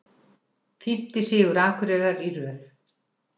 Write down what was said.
Fimmti sigur Akureyrar í röð